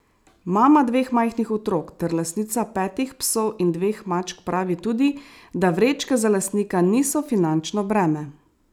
Mama dveh majhnih otrok ter lastnica petih psov in dveh mačk pravi tudi, da vrečke za lastnika niso finančno breme.